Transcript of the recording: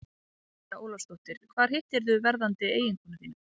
María Ólafsdóttir: Hvar hittirðu verðandi eiginkonu þína?